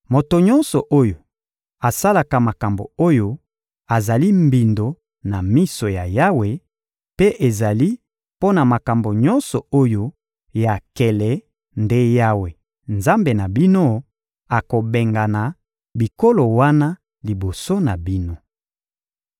Moto nyonso oyo asalaka makambo oyo, azali mbindo na miso ya Yawe; mpe ezali mpo na makambo nyonso oyo ya nkele nde Yawe, Nzambe na bino, akobengana bikolo wana liboso na bino.